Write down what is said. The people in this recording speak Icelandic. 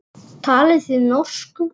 Talið þið norsku.